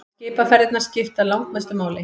Skipaferðirnar skipta langmestu máli.